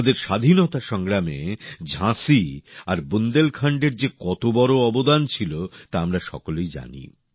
আমাদের স্বাধীনতা সংগ্রামে ঝাঁসি আর বুন্দেলখন্ডের যে কত বড় অবদান ছিল তা আমরা সকলেই জানি